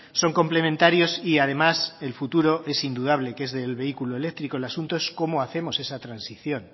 son complementarios y además el futuro es indudable que es del vehículo eléctrico el asunto es cómo hacemos esa transición